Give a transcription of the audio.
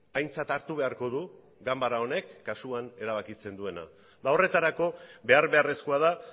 aintzat hartu beharko du ganbara honek kasuan erabakitzen duena horretarako behar beharrezkoa da